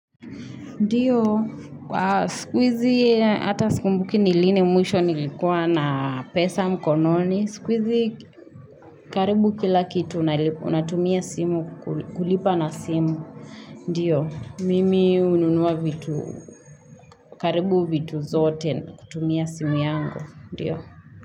Ndio, siku hizi hata sikumbuki ni lini mwisho nilikuwa na pesa mkononi. Siku hizi karibu kila kitu unatumia simu kulipa na simu. Ndio, mimi hununua vitu, karibu vitu zote kutumia simu yangu. Ndio.